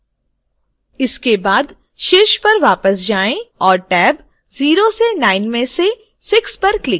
इसके बाद शीर्ष पर वापस जाएँ और टैब 0 से 9 में से 6 पर क्लिक करें